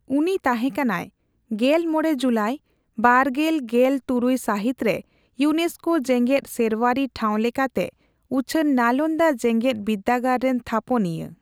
ᱩᱱᱤ ᱛᱟᱦᱮᱸ ᱠᱟᱱᱟᱭ ᱜᱮᱞ ᱢᱚᱲᱮ ᱡᱩᱞᱟᱭ ᱵᱟᱨᱜᱮᱞ ᱜᱮᱞ ᱛᱩᱨᱩᱭ ᱥᱟᱹᱦᱤᱛ ᱨᱮ ᱤᱭᱱᱮᱥᱠᱳ ᱡᱮᱜᱮᱫ ᱥᱮᱨᱣᱟᱨᱤ ᱴᱷᱟᱣ ᱞᱮᱠᱟᱛᱮ ᱩᱪᱷᱟᱹᱱ ᱱᱟᱞᱚᱱᱫᱟ ᱡᱮᱜᱮᱫ ᱵᱤᱨᱫᱟᱹᱜᱟᱲ ᱨᱮᱱ ᱛᱷᱟᱯᱚᱱᱤᱭᱟᱹ ᱾